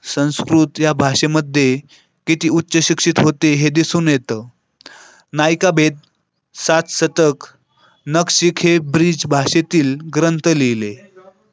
संस्कृत या भाषेमध्ये किती उच्चशिक्षित होते हे दिसून येतं नायिकाभेद सातसतक नक्षी द ब्रिज भाषेतील ग्रंथ लिहिले.